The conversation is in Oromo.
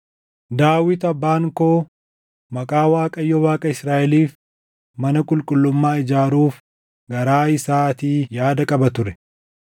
“Daawit abbaan koo Maqaa Waaqayyo Waaqa Israaʼeliif mana qulqullummaa ijaaruuf garaa isaatii yaada qaba ture.